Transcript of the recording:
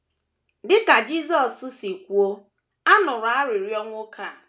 Dị ka Jisọs si kwuo, a nụrụ arịrịọ nwoke a.